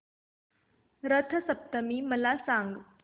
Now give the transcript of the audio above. रथ सप्तमी मला सांग